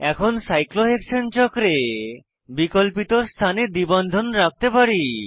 এখন সাইক্লোহেক্সেন চক্রে বিকল্পিত স্থানে দ্বি বন্ধন রাখতে পারি